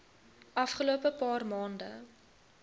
afgelope paar maande